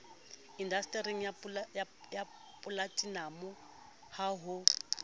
indastering ya polatinamo ha ho